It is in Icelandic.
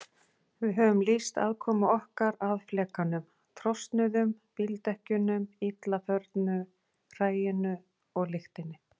Við höfum lýst aðkomu okkar að flekanum, trosnuðum bíldekkjunum, illa förnu hræinu og lyktinni.